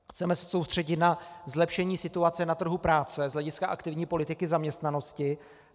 Chceme se soustředit na zlepšení situace na trhu práce z hlediska aktivní politiky zaměstnanosti.